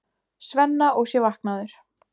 Svenna og sé vaknaður.